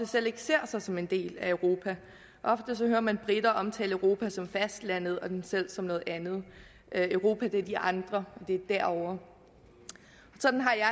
selv ser sig som en del af europa ofte hører man briter omtale europa som fastlandet og dem selv som noget andet europa er de andre og det er derovre sådan har jeg